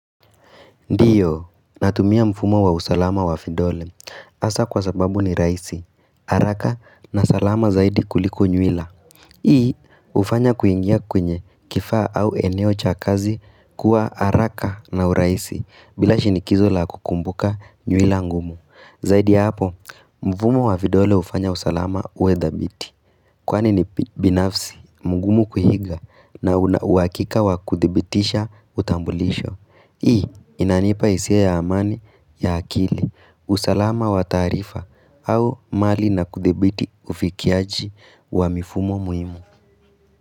Ndio, natumia mfumo wa usalama wa vidole. Hasa kwa sababu ni rahisi, haraka, na salama zaidi kuliko nywila. Hii, hufanya kuingia kwenye kifaa au eneo cha kazi kuwa haraka na uraisi bila shinikizo la kukumbuka nywila ngumu. Zaidi hapo, mfumo wa vidole hufanya usalama uwe dhabiti. Kwaani ni binafsi, mungumu kuiga na una uhakika wa kuthibitisha utambulisho. Hii inanipa hisia ya amani ya akili, usalama wa taarifa, au mali na kudhibiti ufikiaji wa mifumo muhimu.